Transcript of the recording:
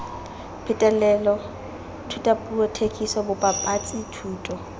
phetolelo thutapuo thekiso bobapatsi thuto